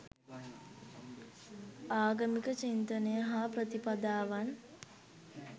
ආගමික චින්තනය හා ප්‍රතිපදාවන්